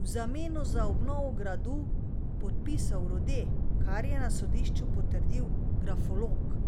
v zameno za obnovo gradu podpisal Rode, kar je na sodišču potrdil grafolog.